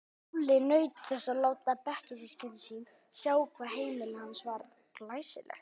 Lúlli naut þess að láta bekkjarsystkini sín sjá hvað heimili hans var glæsilegt.